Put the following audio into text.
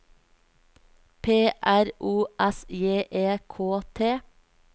P R O S J E K T